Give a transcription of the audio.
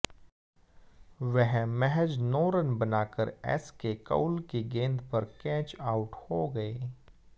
वह महज नौ रन बनाकर एसके कौल की गेंद पर कैच आउट हो गए